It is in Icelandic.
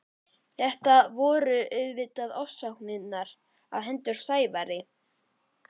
Þetta voru auðvitað ofsóknirnar á hendur Sævari.